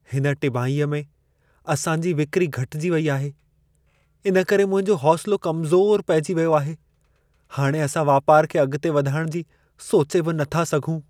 हिन टिमाहीअ में असांजी विक्री घटिजी वेई आहे। इन करे मुंहिंजो हौसिलो कमज़ोर पइजी वियो आहे। हाणे असां वापारु खे अॻिते वधाइणु जी सोचे बि नथा सघूं।